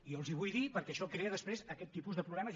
jo els ho vull dir perquè això crea després aquest tipus de problemes